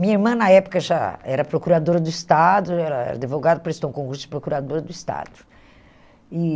Minha irmã, na época, já era procuradora do Estado, era advogada, prestou um concurso de procuradora do Estado. E